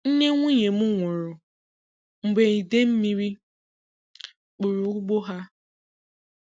Nne nwụnye m nwụrụ mgbe idemmiri kpụrụ ụgbọ ha.